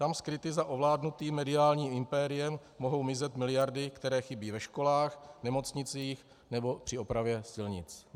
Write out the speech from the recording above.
Tam skryty za ovládnutým mediálním impériem mohou mizet miliardy, které chybí ve školách, nemocnicích nebo při opravě silnic.